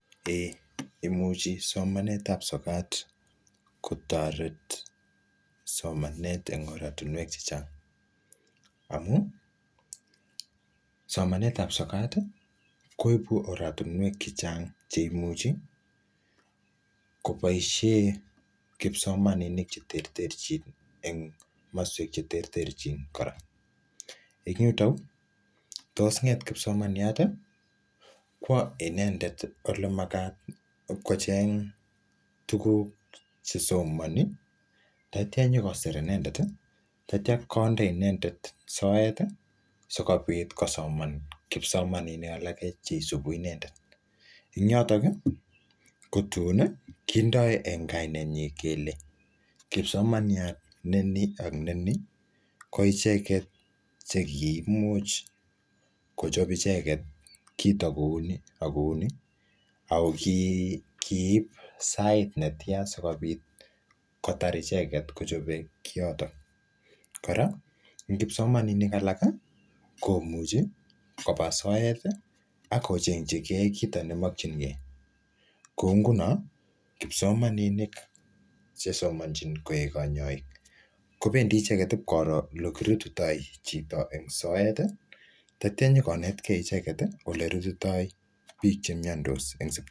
eeh imuchi somanetab sokat kotoret somanet en oratinwek chechang amuni somanetab sokati koiku oratinwek cheimuchi koboishen kipsomaninik cheterterchin en komoswek cheterterchin kora en yuto uu tos nget kipsomaniati kwo inendet ole makati ib kocheng tuguk chesomoni taitia nyokosir inendeti taitia konde inendet soeti sikopit kosoman kipsomaninik alak cheisubu inendet en yotoki kotuni kindo en kaneinyin kele kipsomsniat neni ak ineni koicheket che kiimuch kochob icheket kito koui ak kouni ako kiib saait netian icheket sikopit kotar icheketkochobe kiyoto kora en kipsomaninik alaki komuch koba soeti akochengyikee kito nemochinkee koungunon kipsomaninik chesomonchi koik kanyoik kobendi icheket ib koro ole kirutito chito en soeti taitio inyokonetkee icheket elekirutito biik chemiondos